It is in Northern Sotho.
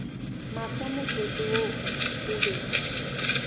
mahlo motsotso wo o be